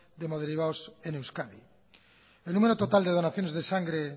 de hemoderivados en euskadi el número total de donaciones de sangre